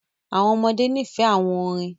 Àwọn ọmọdé ní fẹ̀ àwọn orín.